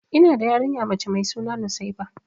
Ina da yarinya mace mai suna nusaiba.